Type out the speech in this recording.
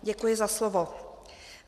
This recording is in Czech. Děkuji za slovo.